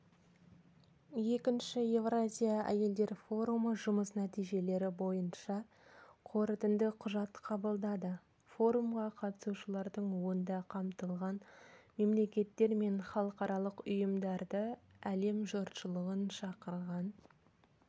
форум аясында әбдіқалықова халықаралық ұйымдар өкілдерімен бірқатар екіжақты кездесулер де өткізді мемлекеттік басқару саласында дипломатиялық қызметте